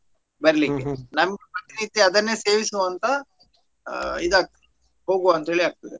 ಬರ್ಲಿ ನಮ್ ಪ್ರತಿನಿತ್ಯ ಅದನ್ನೇ ಸೇವಿಸುವಂತ ಆ ಇದಾಗ್ತದೆ ಹೋಗುವಂತ ಹೇಳಿ ಆಗ್ತದೆ.